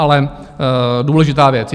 Ale důležitá věc.